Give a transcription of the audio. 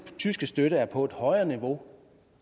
tyske støtte så er på et højere niveau